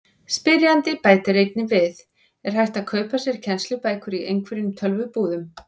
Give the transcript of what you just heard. Spyrjandi bætir einnig við: Er hægt að kaupa sér kennslubækur í einhverjum tölvubúðum?